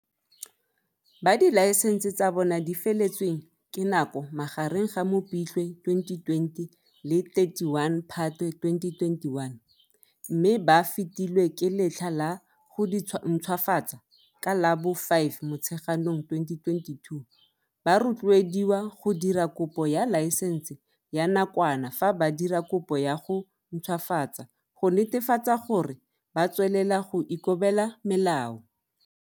Ba dilaesense tsa bona di feletsweng ke nako magareng ga Mopitlwe 2020 le 31 Phatwe 2021, mme ba fetilwe ke letlha la go dintšhwafatsa ka la bo 5 Motsheganong 2022, ba rotloediwa go dira kopo ya laesense ya nakwana fa ba dira kopo ya go ntšhwafatsa go netefatsa gore ba tswelela go ikobela melao.